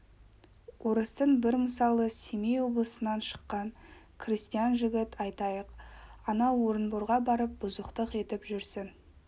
орыстың бір мысалы семей облысынан шыққан крестьян жігіт айтайық анау орынборға барып бұзықтық етіп жүрсін